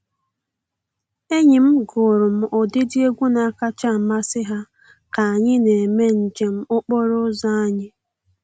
Enyi m gụụrụ m ụdịdị egwu na-akacha amasị ha ka anyị na-eme njem okporo ụzọ anyị.